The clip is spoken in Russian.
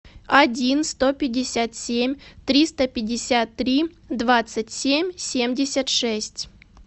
один сто пятьдесят семь триста пятьдесят три двадцать семь семьдесят шесть